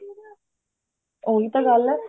ਉਹੀ ਤਾਂ ਗੱਲ ਹੈ